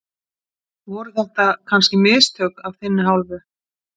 Voru þetta kannski mistök af þinni hálfu?